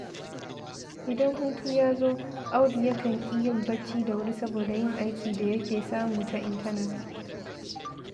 Idan hutu ya zo, Audu yakan ƙi yin bacci da wuri saboda yin aikin da yake samu ta intanet.